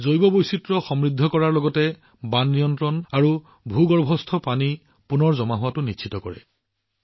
জৈৱ বৈচিত্ৰ্য সমৃদ্ধ কৰাৰ লগতে এইবোৰে বান নিয়ন্ত্ৰণ আৰু ভূগৰ্ভস্থ পানীৰ সংৰক্ষণ নিশ্চিত কৰে